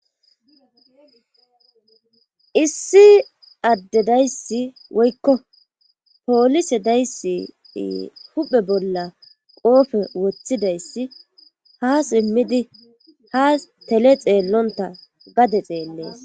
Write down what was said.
Issi addedayssi woykko poolise dayssi huphe bolla qoofe woththidayssi ha simmidi haa tele xeellonta gade xeellees.